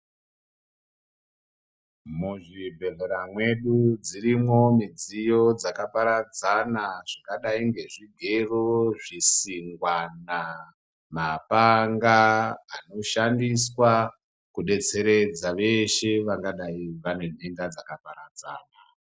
Muzvibhedhleya mwedu dzirimo midziyo dzakaparadzana zvakadai ngezvigero, zvisingwana, mapanga anoshandiswa kudetaeredza veshe vangadai vane nhenda dzakaparadzana.